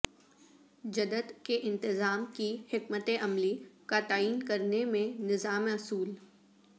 جدت کے انتظام کی حکمت عملی کا تعین کرنے میں نظام اصول